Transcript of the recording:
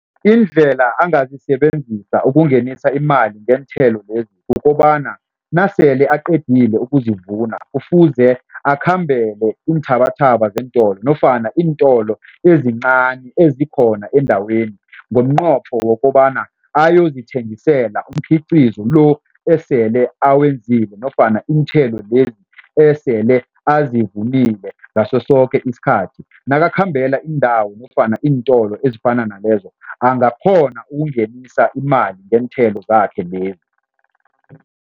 Indlela angazisebenzisa ukungenisa imali ngeenthelo lezi kukobana, nasele aqedile ukusivuna kufuze akhambele iinthabathaba zeentolo nofana iintolo ezincani ezikhona endaweni ngomnqopho wokobana ayozithengisela umkhiqizo lo osele awenzile nofana iinthelo lezi esele azivunile ngaso soke isikhathi. Nakakhambela iindawo nofana iintolo ezifana nalezo, angakghona ukungenisa imali ngeenthelo zakhe lezi.